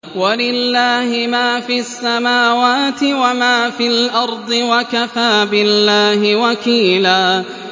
وَلِلَّهِ مَا فِي السَّمَاوَاتِ وَمَا فِي الْأَرْضِ ۚ وَكَفَىٰ بِاللَّهِ وَكِيلًا